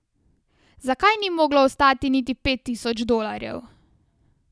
Zakaj ni moglo ostati niti pet tisoč dolarjev?